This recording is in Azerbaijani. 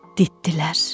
ditdilər,